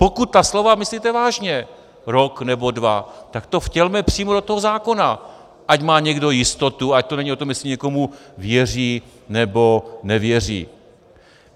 Pokud ta slova myslíte vážně, rok nebo dva, tak to vtělme přímo do toho zákona, ať má někdo jistotu, ať to není o tom, jestli někomu věří nebo nevěří.